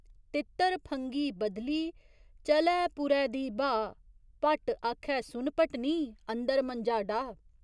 तित्तर फंघी बदली चलै पुरै दी ब्हाऽ भट्ट आखै सुन भट्टनी, अंदर मंजा डाह्।